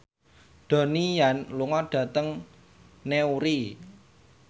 Donnie Yan lunga dhateng Newry